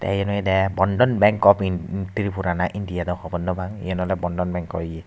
yen oyede bondon bank of Tripura na India do honnopang eyen oley bondon banko ye.